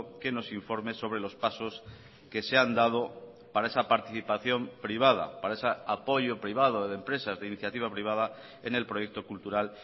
que nos informe sobre los pasos que se han dado para esa participación privada para ese apoyo privado de empresas de iniciativa privada en el proyecto cultural